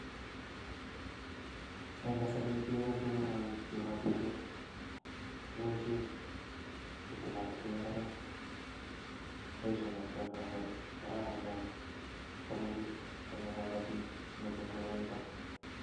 Eng kasari keboishen koroi kibotishen, kiboishen ketilotilen imbaret, boishe kabisaa en kasari, kararan neaa chomee biik, chome kobotik mising koroito.